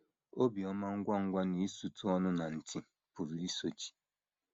Ibi ọma ngwa ngwa na isutụ ọnụ na ntì pụrụ isochi.